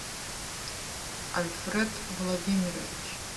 альфред владимирович